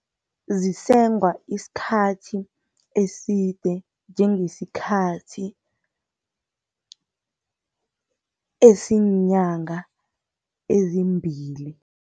Zisengwa isikhathi eside njengesikhathi esinyanga ezimbili.